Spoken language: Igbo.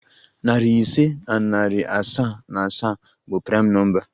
Nari ise na iri asaa na asaa bụ praịm nọmba.